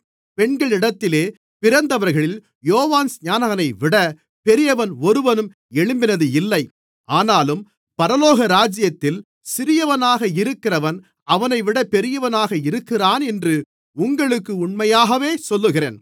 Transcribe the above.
பெண்களிடத்திலே பிறந்தவர்களில் யோவான்ஸ்நானனைவிட பெரியவன் ஒருவனும் எழும்பினதில்லை ஆனாலும் பரலோகராஜ்யத்தில் சிறியவனாக இருக்கிறவன் அவனைவிட பெரியவனாக இருக்கிறானென்று உங்களுக்கு உண்மையாகவே சொல்லுகிறேன்